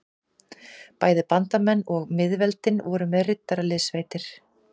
Bæði bandamenn og miðveldin voru með riddaraliðssveitir.